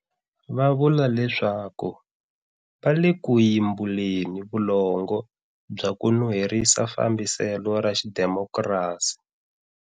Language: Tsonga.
Va vula leswaku va le ku yimbuleni vulongo bya ku nuherisa fambiselo ra xidimokrasi.